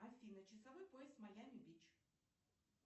афина часовой пояс майами бич